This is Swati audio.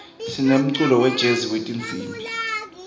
sinemculo wejezi wetinsimbi